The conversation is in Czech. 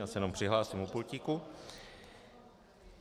Já se jenom přihlásím u pultíku.